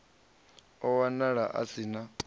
o wanala a si na